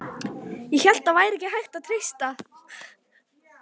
ÉG HÉLT AÐ ÞAÐ VÆRI HÆGT AÐ TREYSTA